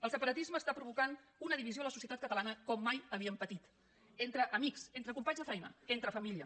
el separatisme provoca una divisió en la societat catalana com mai havíem patit entre amics entre companys de feina entre família